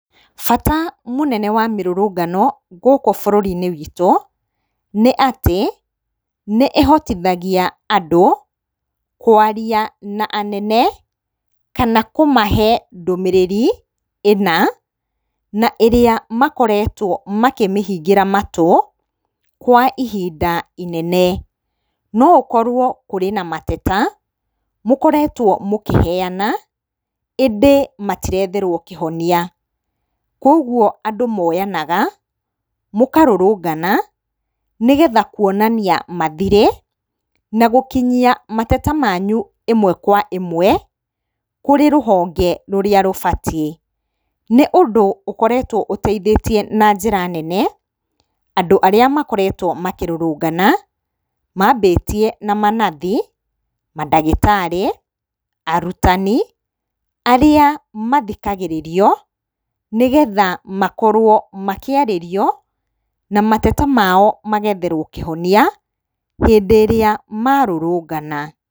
Bata mũnene wa mĩrũrũngano gũkũ bũrũri-inĩ witũ, nĩ atĩ nĩ ĩhotithagia andũ kũaria na anene, kana kũmahe ndũmĩrĩri ĩna na ĩrĩa makoretwo makĩmĩhingĩra matũ kwa ihinda inene. No ũkorwo kũrĩ na mateta mũkoretwo mũkĩheana, ĩndĩ matiretherwo kĩhonia. Koguo andũ moyanaga, mũkarũrũngana, nĩgetha kũonania mathirĩ, na gũkinyia mateta manyũ ĩmwe ka ĩmwe kũrĩ rũhonge rũrĩa rũbatiĩ. Nĩ ũndũ ũkoretwo ũteithĩtie na njĩra nene, andũ arĩa makoretwo makĩrũrũngana, mambĩtie na manathi, mandagĩtarĩ, arutani, arĩa mathikagĩrĩrio, nĩgetha makorwo makĩarĩrio na mateta mao magetherwo kĩhonia hĩndĩ ĩrĩa marũrũngana.